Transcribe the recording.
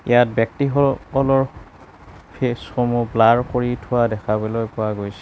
ইয়াত ব্যক্তিসকলৰ ফেচ সমূহ ব্লাৰ কৰি থোৱা দেখাবলৈ পোৱা গৈছে।